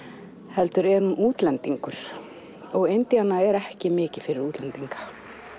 heldur er hún útlendingur og Indíana er ekki mikið fyrir útlendinga